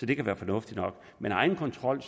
kan være fornuftigt nok men egenkontrol